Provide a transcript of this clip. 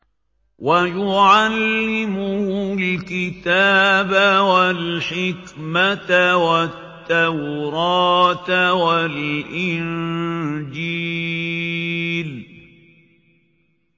وَيُعَلِّمُهُ الْكِتَابَ وَالْحِكْمَةَ وَالتَّوْرَاةَ وَالْإِنجِيلَ